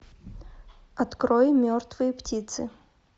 открой мертвые птицы